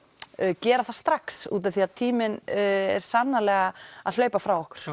gera það strax út af því að tíminn er sannarlega að hlaupa frá okkur